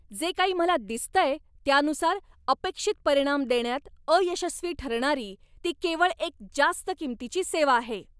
जे काही मला दिसतंय त्यानुसार, अपेक्षित परिणाम देण्यात अयशस्वी ठरणारी ती केवळ एक जास्त किंमतीची सेवा आहे!